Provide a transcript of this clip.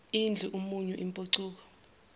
idla umunyu impucuko